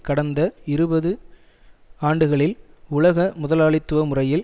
கடந்த இருபது ஆண்டுகளில் உலக முதலாளித்துவ முறையில்